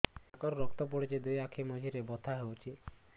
ନାକରୁ ରକ୍ତ ପଡୁଛି ଦୁଇ ଆଖି ମଝିରେ ବଥା ହଉଚି